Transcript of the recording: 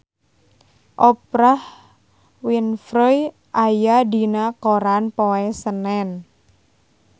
Oprah Winfrey aya dina koran poe Senen